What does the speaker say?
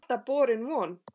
Það var alltaf borin von